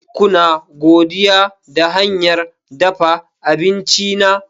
Kuna godiya da hanyar dafa abinci na?